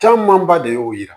Camanba de y'o yira